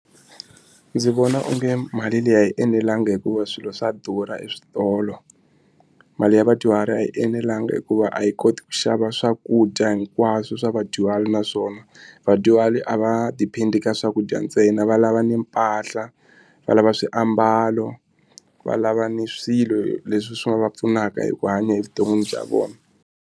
Ndzi vona onge mali leyi a yi enelangi hikuva swilo swa durha eswitolo. Mali ya vadyuhari a yi enelanga hikuva a yi koti ku xava swakudya hinkwaswo swa vadyuhari naswona vona vadyuhari a va depend-i ka swakudya ntsena va lava ni mpahla va lava swiambalo va lava ni swilo leswi swi nga va pfunaka hi ku hanya evuton'wini bya vona.